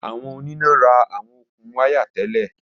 Awọn onina ra awọn okun waya tẹlẹ.